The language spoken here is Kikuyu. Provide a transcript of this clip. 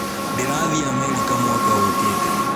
Ndĩrathiĩ Amerika mwaka ũkite.